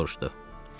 Müstəntiq soruşdu.